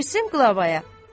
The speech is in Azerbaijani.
Versin qlavaya.